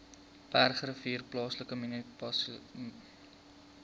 bergrivier plaaslike munisipaliteit